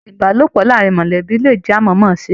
Ìbálòpọ̀ láàrín mọlẹbi le jẹ amọmọse.